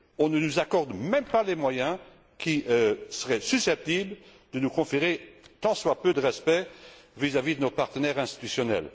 On ne nous accorde même pas les moyens qui seraient susceptibles de nous conférer un tant soit peu de respect vis à vis de nos partenaires institutionnels.